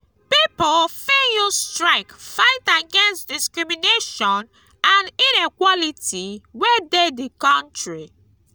pipo fit use strike fight against discrimination and inequality wey de di country